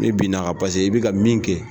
I binna a ka i bɛ ka min kɛ